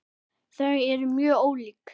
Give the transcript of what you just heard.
Þau eru mjög ólík.